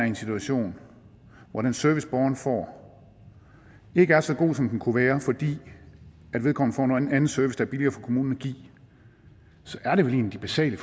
en situation hvor den service borgeren får ikke er så god som den kunne være fordi vedkommende får en anden service der er billigere for kommunen at give så er det vel en af de basale